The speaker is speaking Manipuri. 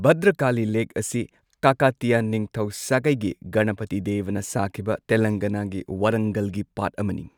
ꯚꯗ꯭ꯔꯀꯥꯂꯤ ꯂꯦꯛ ꯑꯁꯤ ꯀꯀꯇꯤꯌꯥ ꯅꯤꯡꯊꯧ ꯁꯥꯒꯩꯒꯤ ꯒꯅꯄꯇꯤ ꯗꯦꯕꯥꯅ ꯁꯥꯈꯤꯕ ꯇꯦꯂꯪꯒꯥꯅꯥꯒꯤ ꯋꯥꯔꯥꯡꯒꯜꯒꯤ ꯄꯥꯠ ꯑꯃꯅꯤ꯫